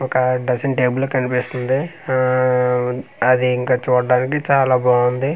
ఒక dressing table కనిపిస్తుంది ఆ అది ఇంకా చూడడానికి చాలా బాగుంది.